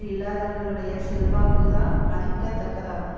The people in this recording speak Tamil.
இல்லாதவர்களுடைய செல்வாக்குதான் மதிக்க தக்கதாகும்